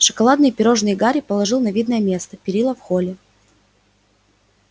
шоколадные пирожные гарри положил на видное место перила в холле